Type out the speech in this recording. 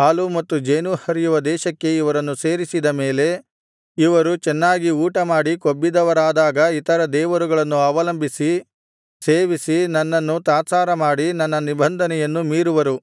ಹಾಲೂ ಮತ್ತು ಜೇನೂ ಹರಿಯುವ ದೇಶಕ್ಕೆ ಇವರನ್ನು ಸೇರಿಸಿದ ಮೇಲೆ ಇವರು ಚೆನ್ನಾಗಿ ಊಟಮಾಡಿ ಕೊಬ್ಬಿದವರಾದಾಗ ಇತರ ದೇವರುಗಳನ್ನು ಅವಲಂಬಿಸಿ ಸೇವಿಸಿ ನನ್ನನ್ನು ತಾತ್ಸಾರಮಾಡಿ ನನ್ನ ನಿಬಂಧನೆಯನ್ನು ಮೀರುವರು